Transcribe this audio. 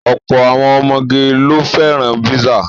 Ọ̀pọ̀ àwọn ọmọge ló fẹ́ràn písà.